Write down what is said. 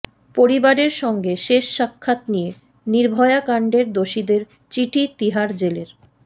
পরিবারের সঙ্গে শেষ সাক্ষাৎ নিয়ে নির্ভয়া কাণ্ডের দোষীদের চিঠি তিহার জেলের